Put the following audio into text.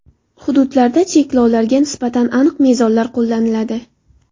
Hududlarda cheklovlarga nisbatan aniq mezonlar qo‘llaniladi.